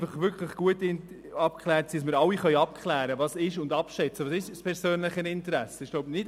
Nein, es muss wirklich gut abgeklärt sein, damit wir alle abschätzen können, was unter einem persönlichen Interesse verstanden wird.